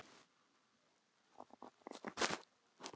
Elsku Gróa amma.